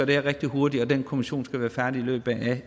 det her rigtig hurtigt den kommission skal være færdig i løbet af